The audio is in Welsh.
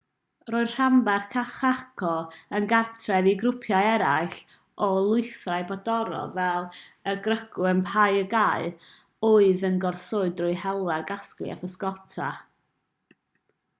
roedd rhanbarth chaco yn gartref i grwpiau eraill o lwythau brodorol fel y guaycurú a payaguá oedd yn goroesi drwy hela casglu a physgota